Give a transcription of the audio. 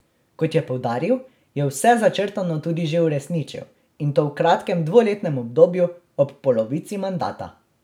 Kot je poudaril, je vse začrtano tudi že uresničil, in to v kratkem dvoletnem obdobju, ob polovici mandata.